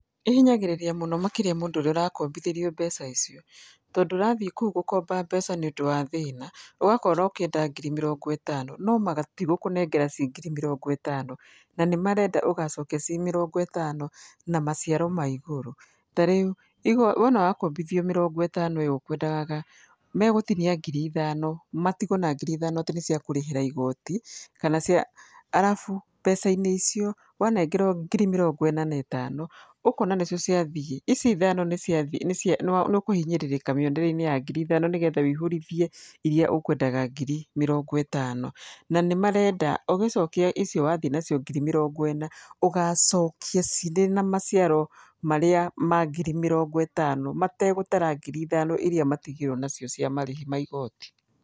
ĩhinyagĩrĩria mũno makĩria mũndũ ũrĩa ũrakombithĩrio mbeca icio, tondũ ũrathiĩ kũu gũkomba mbeca nĩ ũndũ wa thĩna, ũgakorwo ũkĩenda ngiri mĩrongo ĩtano no matigũkũnengera ci ngiri mĩrongo ĩtano, na nĩ marenda ũgacokia ci mĩrongo ĩtano na maciaro ma igũrũ. Ta rĩu wona wakombithio mĩrongo ĩtano ĩyo ũkwendaga, megũtinia ngiri ithano matigwo na ngiri ithano atĩ nĩ cia kũrĩhĩra igoti kana cia, arabu mbeca-inĩ icio wanengerwo ngiri mĩrongo ĩna na ĩtano, ũkona nĩcio ciathiĩ, ici ithano nĩ ciathiĩ, nĩũkũhinyĩrĩka mĩethre-inĩ ya ngiri ithano nĩ getha wũihũrithie iria ũkwendaga ngiri mĩrongo ĩtano. Na nĩ marenda ũgĩcokia icio wathiĩ nacio ngiri mĩrongo ĩna, ũgacokia cirĩ na maciaro marĩa ma ngiri mĩrongo ĩtano, mategũtara ngiri ithano iria matigirwo nacio cia marĩhi ma igoti.